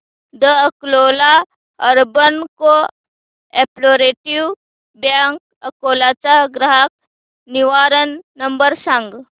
the Akola urban cooperative bank Akola चा ग्राहक निवारण नंबर सांग